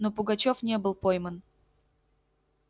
но пугачёв не был пойман